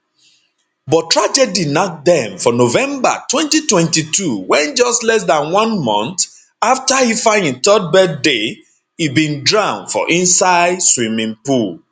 but tragedy nack dem for november 2022 wen just less dan one month afta ifeanyi 3rd birthday e bin drown for inside swimming pool